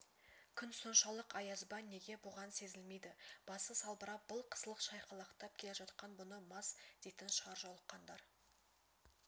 күн соншалық аяз ба неге бұған сезілмейді басы салбырап былқ-сылқ шайқалақтап келе жатқан бұны мас дейтін шығар жолыққандар